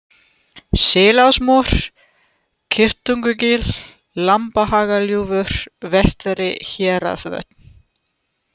Selásmór, Kýrtungugil, Lambhagagljúfur, Vestari-Héraðsvötn